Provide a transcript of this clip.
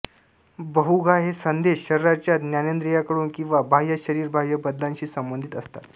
बहुघा हे संदेश शरीराच्या ज्ञानेंद्रियाकडून किंवा बाह्य शरीरबाह्य बदलाशी संबंधित असतात